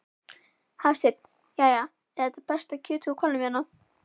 Hafsteinn: Jæja, er þetta besta kjötið úr hvalnum hérna?